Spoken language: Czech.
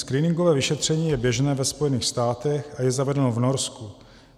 Screeningové vyšetření je běžné ve Spojených státech a je zavedeno v Norsku.